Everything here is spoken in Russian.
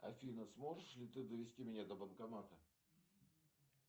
афина сможешь ли ты довести меня до банкомата